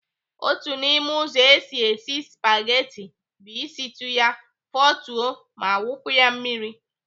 Otu n'ime ụzọ esi esi spageti bụ ịsịtụ ya, fotuo ma wụpụ ya mmiri.